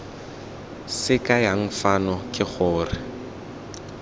se kayang fano ke gore